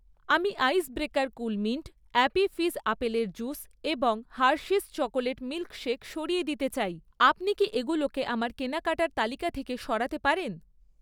আমি Ice Breaker Coolmint, Appy Fizz আপেলের juice এবং হার্শিস চকোলেট মিল্ক শেক সরিয়ে দিতে চাই, আপনি কি এগুলোকে আমার কেনাকাটার তালিকা থেকে সরাতে পারেন?